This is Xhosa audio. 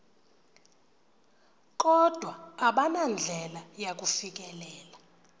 kodwa abanandlela yakufikelela